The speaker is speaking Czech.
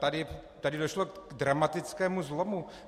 Tady došlo k dramatickému zlomu.